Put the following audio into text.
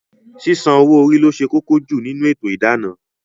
Sísan owó orí lo ṣe kókó jù nínú ètò idana